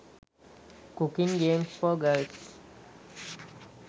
cooking games for girls